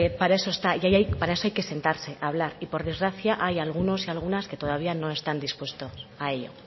para eso está y para eso hay que sentarse a hablar y por desgracia hay algunos y algunas que todavía no están dispuestos a ello